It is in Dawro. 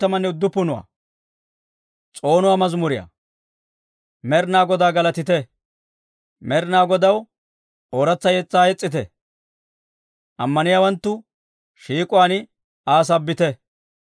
Med'inaa Godaa galatite! Med'inaa Godaw ooratsa yetsaa yes's'ite! Ammaniyaawanttu shiik'uwaan Aa sabbite!